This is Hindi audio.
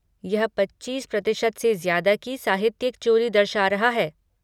यह पच्चीस प्रतिशत से ज़्यादा की साहित्यिक चोरी दर्शा रहा है।